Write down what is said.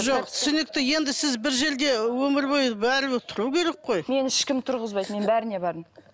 жоқ түсінікті енді сіз бір жерде өмір бойы бәрібір тұру керек қой мені ешкім тұрғызбайды мен бәріне бардым